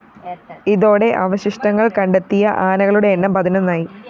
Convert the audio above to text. ഇതോടെ അവശിഷ്ടങ്ങള്‍ കണ്ടെത്തിയ ആനകളുടെ എണ്ണം പതിനൊന്നായി